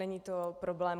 Není to problém.